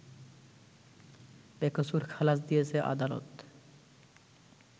বেকসুর খালাস দিয়েছে আদালত